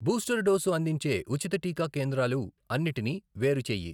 Booster dose అందించే ఉచిత టీకా కేంద్రాలు అన్నిటినీ వేరు చేయి.